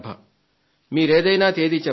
మీరేదైనా తేదీ చెప్పండి